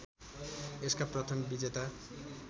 यसका प्रथम विजेता